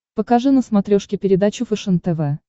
покажи на смотрешке передачу фэшен тв